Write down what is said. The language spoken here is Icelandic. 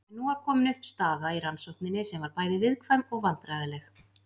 En nú var komin upp staða í rannsókninni sem var bæði viðkvæm og vandræðaleg.